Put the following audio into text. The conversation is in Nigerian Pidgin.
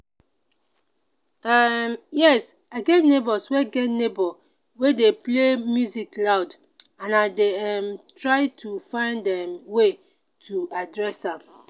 um yes i get neighbor wey get neighbor wey dey play music loud and i dey um try to find um way to address am.